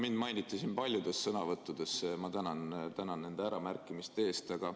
Mind mainiti siin paljudes sõnavõttudes, ma tänan nende äramärkimiste eest!